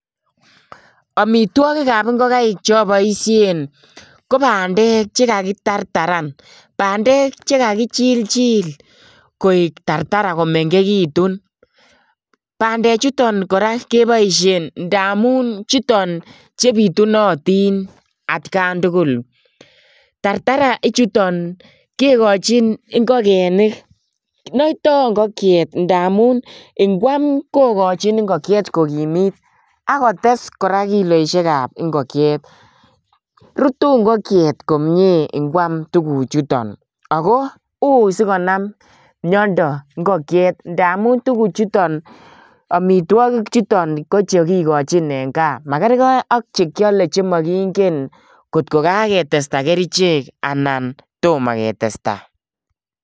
Amitwogik ab ingokaik cheoboishien ko bandek chelakitartaraan. Bandek chekakiichilchil koik tartaraa ko mengekiitun. Bandechuton kora keboishien amun chutok chebitunotin atkan tugul. Tartaraa ichuton kikochin ingogenik, noitoo ingokyeet ngamun ikwam kokochin ingokyeet kokimiit ak kotes kora kiloisiekab ingokyeet. Rutu ingokyeet komie ingoam tuguchutok ako ui sikonaam miondoo ingokyeet ndamun tuguchutok .Amitwogiik chutok kochekikochin en gaa, makerkei akche kiole angot ko kaketestai kerichek anan tomoo ketestaa.